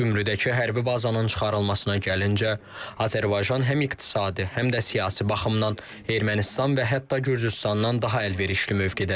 Gümrüdəki hərbi bazanın çıxarılmasına gəlincə, Azərbaycan həm iqtisadi, həm də siyasi baxımdan Ermənistan və hətta Gürcüstandan daha əlverişli mövqedədir.